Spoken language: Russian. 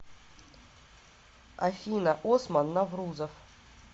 афина осман наврузов